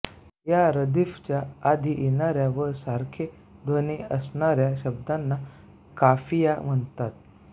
या रदीफच्या आधी येणाऱ्या व सारखे ध्वनी असणाऱ्या शब्दांना काफिया म्हणतात